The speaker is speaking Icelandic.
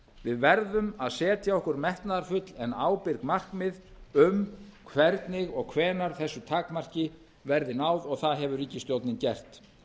við verðum að setja okkur metnaðarfull en ábyrg markmið um hvernig og hvenær þessu takmarki verði náð og það hefur ríkisstjórnin gert